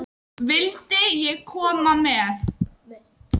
Vildi ég koma með?